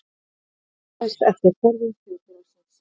Ritmálið þróaðist eftir þörfum þjóðfélagsins.